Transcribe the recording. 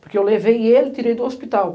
Porque eu levei ele e tirei do hospital.